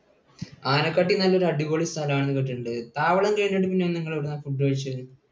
ആനക്കട്ടി നല്ല ഒരു അടിപൊളി സ്ഥലം ആണെന്ന് കേട്ടിട്ടുണ്ട്. താവളം കഴിഞ്ഞിട്ട് പിന്നെ നിങ്ങൾ എവിടെ നിന്നാണ് food കഴിച്ചത്?